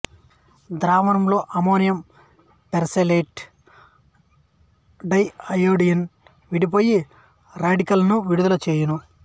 ద్రావణంలో ammonium persulphate dianion విడిపోయి radical లను విడుదల చేయును